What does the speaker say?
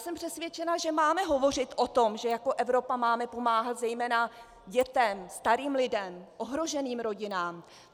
Jsem přesvědčena, že máme hovořit o tom, že jako Evropa máme pomáhat zejména dětem, starým lidem, ohroženým rodinám.